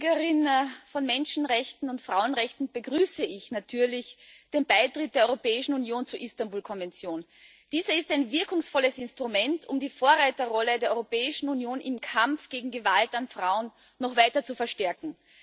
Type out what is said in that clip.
Frau Präsidentin! Als Verteidigerin von Menschenrechten und Frauenrechten begrüße ich natürlich den Beitritt der Europäischen Union zur Istanbul Konvention. Diese ist ein wirkungsvolles Instrument, um die Vorreiterrolle der Europäischen Union im Kampf gegen Gewalt an Frauen noch weiter zu verstärken.